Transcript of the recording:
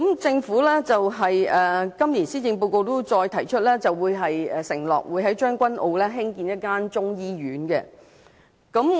政府在今年施政報告中承諾會在將軍澳興建中醫院。